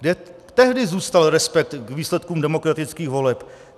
Kde tehdy zůstal respekt k výsledkům demokratických voleb?